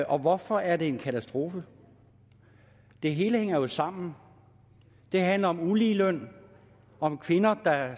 og hvorfor er det en katastrofe det hele hænger jo sammen det handler om ulige løn om kvinder der